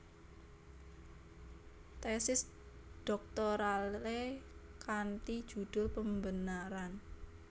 Tesis dhoktoralé kanti judul Pembenaran